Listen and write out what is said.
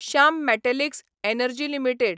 Shyam Metalics Energy limited